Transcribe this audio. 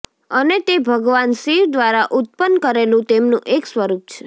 અને તે ભગવાન શિવ દ્વારા ઉત્પન કરેલું તેમનું એક સ્વરૂપ છે